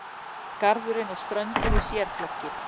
Garðurinn og ströndin í sérflokki.